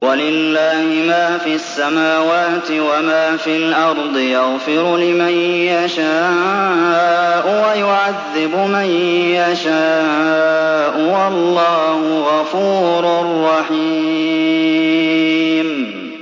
وَلِلَّهِ مَا فِي السَّمَاوَاتِ وَمَا فِي الْأَرْضِ ۚ يَغْفِرُ لِمَن يَشَاءُ وَيُعَذِّبُ مَن يَشَاءُ ۚ وَاللَّهُ غَفُورٌ رَّحِيمٌ